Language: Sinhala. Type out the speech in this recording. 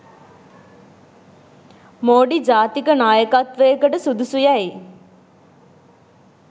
මෝඩි ජාතික නායකත්වයකට සුදුසු යැයි